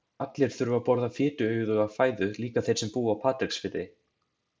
Allir þurfa að borða fituauðuga fæðu, líka þeir sem búa á Patreksfirði.